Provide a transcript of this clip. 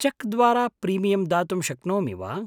Check द्वारा premium दातुं शक्नोमि वा?